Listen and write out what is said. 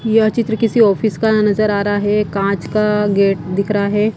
यह चित्र किसी ऑफिस का नजर आ रहा है कांच का गेट दिख रहा है।